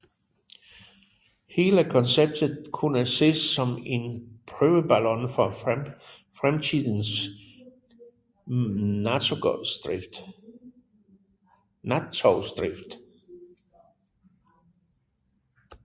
Hele konceptet kunne ses som en prøveballon for fremtidens nattogsdrift